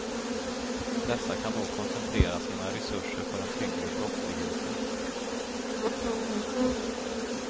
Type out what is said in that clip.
Dessa kan då koncentrera sina resurser på den tyngre brottsligheten.